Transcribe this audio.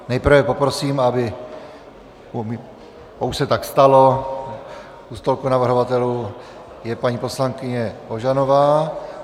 Nejprve poprosím, aby - už se tak stalo - u stolku navrhovatelů je paní poslankyně Ožanová.